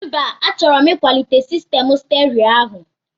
Mba, achọrọ m ịkwalite sistemụ sterio áhụ̀